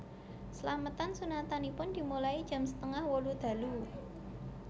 Slametan sunatanipun dimulai jam setengah wolu dalu